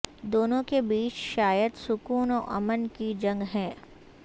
دونوں کے بیچ شاید سکون و امن کی جنگ ہے